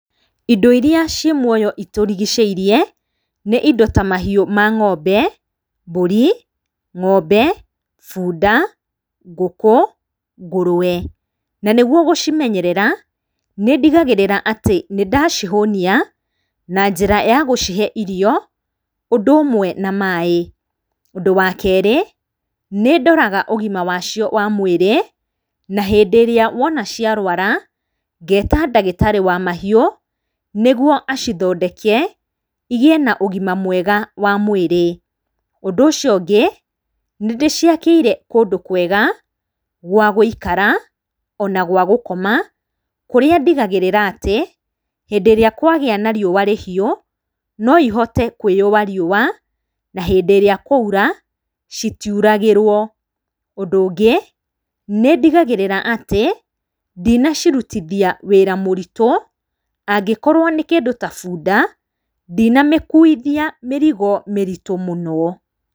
Indo iria ciĩ muoyo itũrigicĩirie nĩ indo ta mahiũ ma ngombe, mbũri, ngombe, bunda, ngũkũ, ngũrwe, na nĩguo gũcimenyerera nĩndigagĩrĩra atĩ nĩ ndacihũnia na njĩra ya gũcihe irio, ũndũ ũmwe na maaĩ. Ũndũ wa kerĩ, nĩ ndoraga ũgima wacio wa mwĩrĩ, na hĩndĩ ĩrĩa wona ciarwara, ngeta ndagĩtarĩ wa mahiũ, nĩguo acithondeke igiĩ na ũgima mwega wa mwĩrĩ. Ũndũ ũcio ũngĩ, nĩ ndĩciakĩire kũndũ kwega gwa gũikara, ona gwa gũkoma kũrĩa ndĩgagĩrĩra atĩ, hĩndĩ ĩrĩa kwagĩa na riũa rĩhiũ no ihote kwĩyũa riũa, na hĩndĩ ĩrĩa kwaũra, citiuragĩrwo. Ũndũ ũngĩ, nĩ ndigagĩrĩra atĩ ndina cirutithia wĩra mũritũ. Angĩkorwo nĩ kĩndũ ta bunda, ndina mĩkuithia mĩrigo mĩritũ mũno.